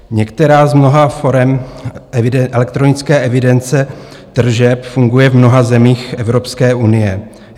Některá z mnoha forem elektronické evidence tržeb funguje v mnoha zemích Evropské unie.